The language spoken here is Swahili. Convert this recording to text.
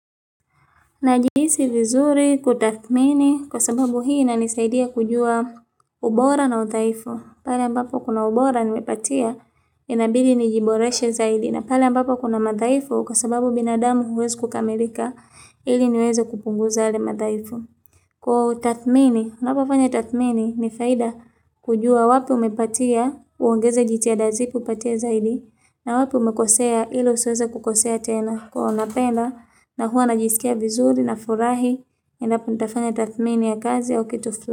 Najihisi vizuri kutathmini kwa sababu hii inanisaidia kujua ubora na udhaifu. Pale ambapo kuna ubora nimepatia inabidi nijiboreshe zaidi. Na pale ambapo kuna madhaifu kwa sababu binadamu huwezi kukamilika ili niweze kupunguza yale madhaifu. Kwa utathmini, unapofanya tathmini ni faida kujua wapi umepatia uongeze jitihada zipi upatie zaidi. Na wapi umekosea ili usiweze kukosea tena kuona tena na huwa najisikia vizuri nafurahi Ninapofanya tathmini ya kazi au kitu fulani.